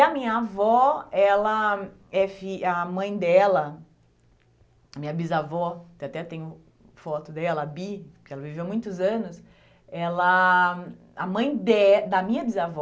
E a minha avó, ela, é fi a mãe dela, minha bisavó, que até tem foto dela, bi, porque ela viveu muitos anos, ela, a mãe de da minha bisavó,